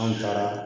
An taara